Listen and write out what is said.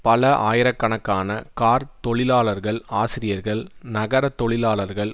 பல ஆயிரக்கணக்கான கார்த் தொழிலாளர்கள் ஆசிரியர்கள் நகர தொழிலாளர்கள்